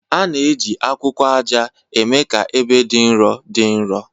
A na-eji akwụkwọ aja na-eme ka ebe dị nro dị nro